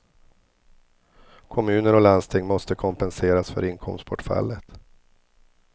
Kommuner och landsting måste kompenseras för inkomstbortfallet.